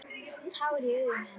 Tár í augum hennar.